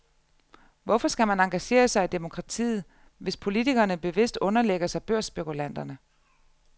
Hvorfor skal man engagere sig i demokratiet, hvis politikerne bevidst underlægger sig børsspekulanterne?